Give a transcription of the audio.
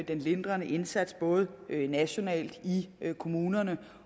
den lindrende indsats både nationalt i kommunerne